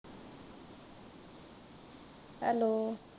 Hello.